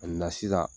sisan